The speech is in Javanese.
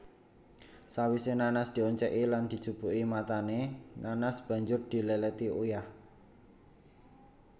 Sawise nanas dioncéki lan dijupuki matané nanas banjur diléléti uyah